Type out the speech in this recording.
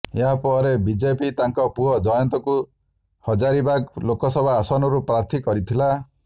ଏହା ପରେ ବିଜେପି ତାଙ୍କ ପୁଅ ଜୟନ୍ତଙ୍କୁ ହଜାରୀବାଗ ଲୋକସଭା ଆସନରୁ ପ୍ରାର୍ଥୀ କରିଥିଲା